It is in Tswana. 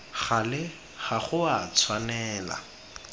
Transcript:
gale ga go a tshwanela